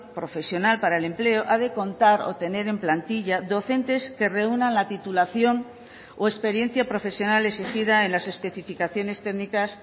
profesional para el empleo ha de contar o tener en plantilla docentes que reúnan la titulación o experiencia profesional exigida en las especificaciones técnicas